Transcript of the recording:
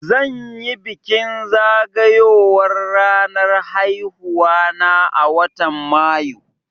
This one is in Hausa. Zan yi bikin zagayowar ranar haihuwa na a watan Mayu